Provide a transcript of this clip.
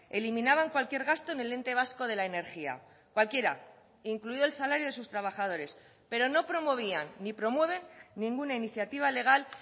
eliminaban cualquier gasto en el ente vasco de la energía cualquiera incluido el salario de sus trabajadores pero no promovían ni promueven ninguna iniciativa legal